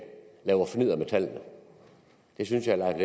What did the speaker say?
laver fnidder med tallene det synes jeg at